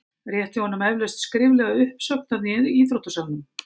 Rétti honum eflaust skriflega uppsögn þarna í íþróttasalnum?